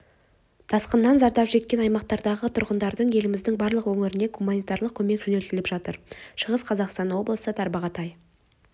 тасқыннан зардап шеккен аймақтардағы тұрғындарға еліміздің барлық өңірінен гуманитарлық көмек жөнелтіліп жатыр шығыс қазақстан облысы тарбағатай